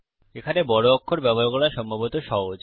এখানে বড় অক্ষর ব্যবহার করা সম্ভবত সহজ